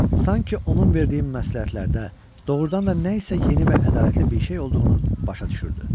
sanki onun verdiyi məsləhətlərdə doğrudan da nəsə yeni və ədalətli bir şey olduğunu başa düşürdü.